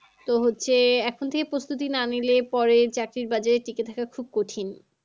তো হচ্ছে এখন থেকে প্রস্তুতি না নিলে পরে চাকরির বাজারে টিকে থাকা খুব কঠিন।